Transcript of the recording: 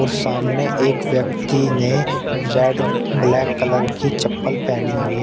और सामने एक व्यक्ति ने रेड ब्लैक कलर की चप्पल पहनी हुई है।